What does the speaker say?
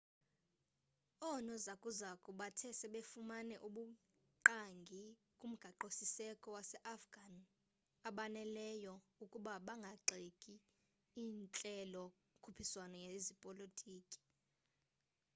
oonozakuzaku bathe sebefumane ubungqangi kumgaqo-siseko waseafghan obaneleyo ukuba bangagxeka intlelo-khuphiswano yezepolitki